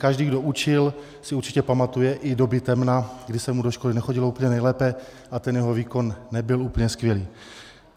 Každý, kdo učil, si určitě pamatuje i doby temna, kdy se mu do školy nechodilo úplně nejlépe a ten jeho výkon nebyl úplně skvělý.